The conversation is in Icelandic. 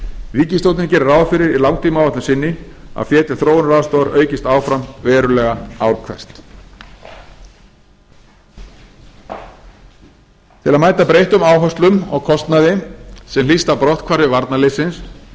ríkisstjórnin gerir ráð fyrir í langtímaáætlun sinni að fé til þróunaraðstoðar aukist áfram verulega ár hvert til að mæta breyttum áherslum og kostnaði sem hlýst af brotthvarfi varnarliðsins